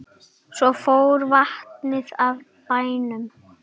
Svo fór vatnið af bænum.